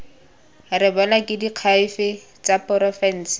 rebolwe ke diakhaefe tsa porofense